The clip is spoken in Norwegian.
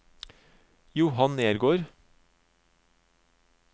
Johan Nergård